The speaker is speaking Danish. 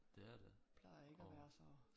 Det er der og